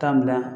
Taa bila